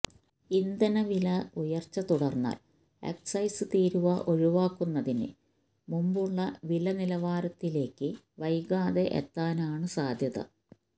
ഇന്ധന വില ഉയർച്ച തുടർന്നാൽ എക്സൈസ് തീരുവ ഒഴിവാക്കുന്നതിന് മുമ്പുള്ള വില നിലവാരത്തിലേക്ക് വൈകാതെ എത്താനാണ് സാധ്യത